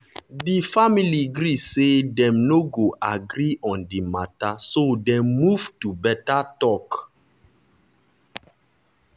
di family gree say dem no go agree on di matter so dem move to better talk.